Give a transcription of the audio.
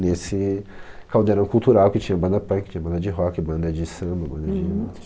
Nesse caldeirão cultural que tinha banda punk, banda de rock, banda de samba, banda de